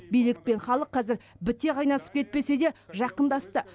билік пен халық қазір біте қайнасып кетпесе де жақындасты